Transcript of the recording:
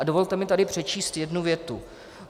A dovolte mi tady přečíst jednu větu.